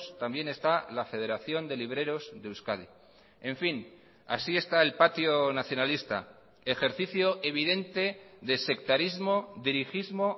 también está la federación de libreros de euskadi en fin así está el patio nacionalista ejercicio evidente de sectarismo dirigismo